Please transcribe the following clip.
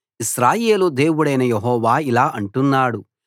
ఇశ్రాయేలు దేవుడైన యెహోవా ఇలా అంటున్నాడు